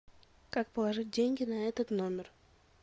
как положить деньги на этот номер